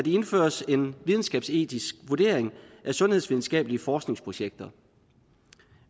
indføres en videnskabsetisk vurdering af sundhedsvidenskabelige forskningsprojekter